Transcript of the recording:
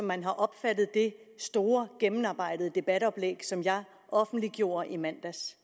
man har opfattet det store gennemarbejdede debatoplæg som jeg offentliggjorde i mandags